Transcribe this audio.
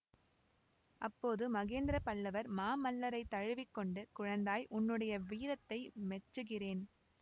அப்போது மகேந்திரபல்லவர் மாமல்லரைத் தழுவி கொண்டு குழந்தாய் உன்னுடைய வீரத்தை மெச்சுகிறேன்